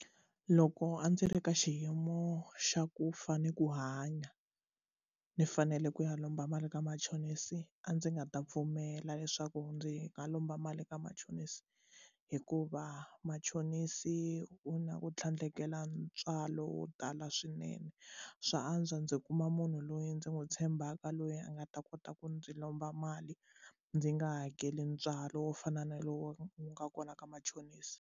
Loko a ndzi ri ka xiyimo xa ku fa ni ku hanya ndzi fanele ku ya lomba mali ka machonisi a ndzi nga ta pfumela leswaku ndzi nga lomba mali ka machonisi hikuva machonisi u na ku tlhandlekela ntswalo wo tala swinene swa antswa ndzi kuma munhu loyi ndzi n'wu tshembaka loyi a nga ta kota ku ndzi lomba mali ndzi nga hakeli ntswalo wo fana na lowu nga kona ka machonisi.